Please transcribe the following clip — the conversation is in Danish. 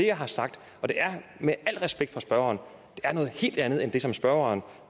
jeg har sagt og det er med al respekt for spørgeren noget helt andet end det som spørgeren